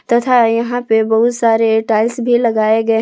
तथा यहां पे बहुत सारे टाइल्स भी लगाए गए--